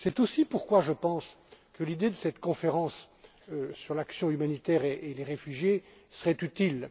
C'est aussi pourquoi je pense que l'idée de cette conférence sur l'action humanitaire et les réfugiés serait utile.